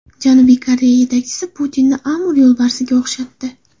Janubiy Koreya yetakchisi Putinni Amur yo‘lbarsiga o‘xshatdi.